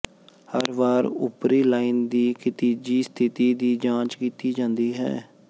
ਹਰ ਵਾਰ ਉਪਰੀ ਲਾਈਨ ਦੀ ਖਿਤਿਜੀ ਸਥਿਤੀ ਦੀ ਜਾਂਚ ਕੀਤੀ ਜਾਂਦੀ ਹੈ